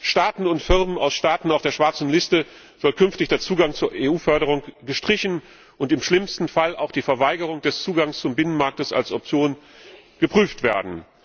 Staaten und Firmen aus Staaten auf der schwarzen Liste soll künftig der Zugang zur EU Förderung gestrichen und im schlimmsten Fall auch die Verweigerung des Zugangs zum Binnenmarkt als Option geprüft werden.